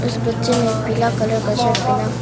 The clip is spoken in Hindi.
इस बच्चे ने पीला कलर का शर्ट पहना--